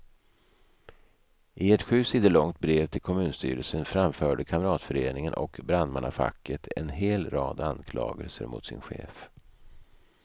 I ett sju sidor långt brev till kommunstyrelsen framförde kamratföreningen och brandmannafacket en hel rad anklagelser mot sin chef.